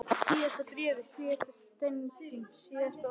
Síðasta bréfið, síðasta setningin, síðasta orðið.